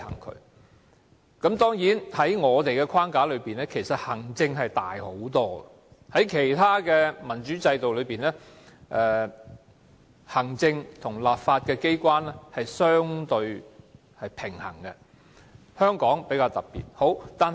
當然，在現時的框架下，行政權相對較大，而在其他民主制度的行政和立法機關則相對平衡，只是香港的情況較特別。